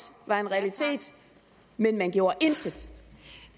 var en realitet men man gjorde intet